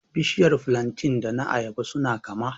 Bishiyar flantain da na ayaba su na kama